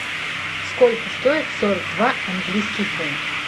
сколько стоит сорок два английский фунт